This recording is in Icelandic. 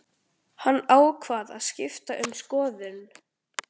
Það tók mig þrjá tíma að fara á milli.